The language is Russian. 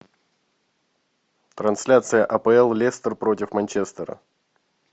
трансляция апл лестер против манчестера